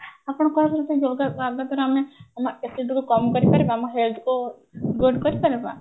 ଆପଣ କଣ କହୁଛନ୍ତି yoga ଦ୍ଵାରା ଆମେ ଆମେ ଏତେ ଦୂର କମ କରିପାରିବା ଆମ health କୁ good କରିପାରିବା